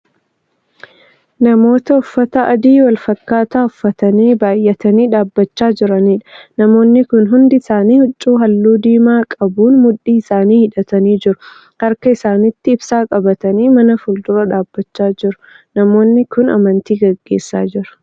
Namoota uffata adii walfakkaataa uffatanii baay'atanii dhaabachaa jiraniidha. namoonni Kun hundi isaanii huccuu halluu diimaa qabuun mudhii isaanii hidhatanii jiru. harka isaanitti ibsaa qabatanii mana fuuldura dhaabachaa jiru. namoonni Kun amantii gaggeessaa jiru.